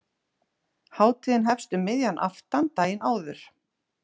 Hátíðin hefst um miðjan aftan daginn áður.